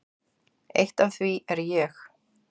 Eitt af því er ég.